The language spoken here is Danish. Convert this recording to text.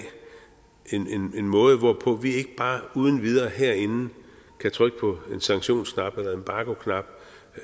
en måde hvorpå vi ikke bare uden videre herinde kan trykke på en sanktionsknap